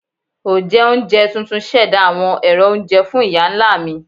Onjẹunjẹ tuntun ṣẹda awọn ero ounjẹ fun iya-nla mi.